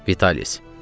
Vitalis.